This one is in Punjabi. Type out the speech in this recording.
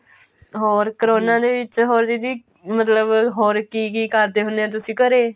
ਹੋਰ ਕਰੋਨਾ ਦੇ ਵਿੱਚ ਹੋਰ ਦੀਦੀ ਮਤਲਬ ਹੋਰ ਕੀ ਕੀ ਕਰਦੇ ਹੁੰਨੇ ਓ ਤੁਸੀਂ ਘਰੇ